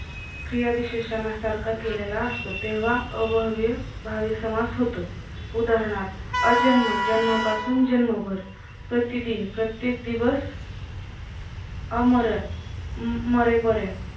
क्रियाविशेषणा सारखा केलेला असतो तेव्हा अव्ययभावी समास होतो उदानहार्थ अजन्म-जन्मापासून जन्मभर प्रतिदिन प्रत्येक दिवस अमरण मरेपर्यंत